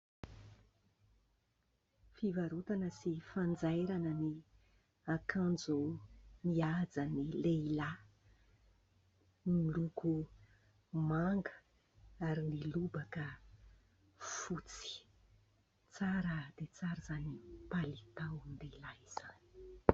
Fivarotana sy fanjairana ny akanjo mihaja an'ny lehilahy miloko manga ary ny lobaka fotsy. Tsara dia tsara izany palitaon-dehilahy izany !